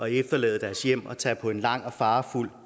efterlade deres hjem og tage på en lang og farefuld